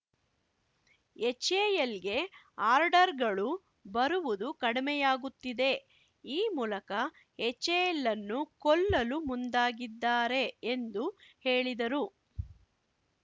ಎಚ್‌ಎಎಲ್‌ಗೆ ಆರ್ಡರ್‌ಗಳು ಬರುವುದು ಕಡಿಮೆಯಾಗುತ್ತಿದೆ ಈ ಮೂಲಕ ಎಚ್‌ಎಎಲ್‌ ಅನ್ನು ಕೊಲ್ಲಲು ಮುಂದಾಗಿದ್ದಾರೆ ಎಂದು ಹೇಳಿದರು